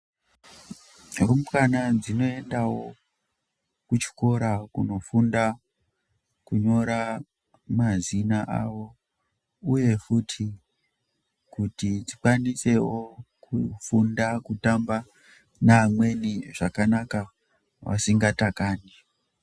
Rumbwana dzinoendawo kuchikora kunofunda kunyora mazina awo uye futi kuti dzikwanisewo kufunda kutamba neamweni zvakanaka vasingatakani.